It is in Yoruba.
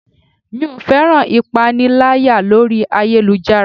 Mi ò féràn ìpaniláyà orí ayélujára.